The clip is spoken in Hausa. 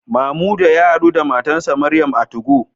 Mamuda ya hadu da matarsa ​​Mariam a 2go